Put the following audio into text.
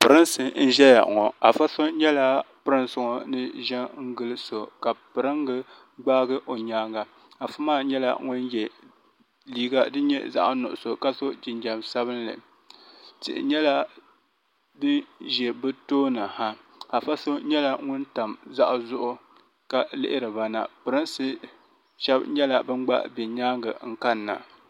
pɛrinsi n ʒɛya ŋɔ a ƒɔso nyɛla pɛringa gbaagi o nyɛŋa a ƒɔmaa nyɛla ŋɔ yɛ liga din nyɛ zaɣ' nuɣisu ka so jinjam sabinli tihi nyɛla din ʒɛ bɛ tuuni ha aƒɔso nyɛla ŋɔ tam zuhizuɣigu ka lihiriba na pɛrinsi shɛbi nyɛla bɛn gba bɛ nyɛŋa n kani na